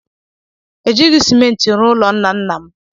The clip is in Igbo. E jighị Simenti rụọ ụlọ nna nna m.